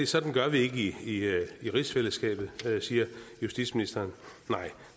sådan gør vi ikke i rigsfællesskabet siger justitsministeren nej